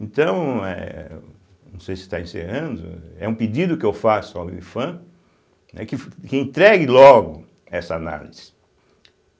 Então, é, não sei se está encerrando, é um pedido que eu faço ao Ifam, né, que fu, que entregue logo essa análise.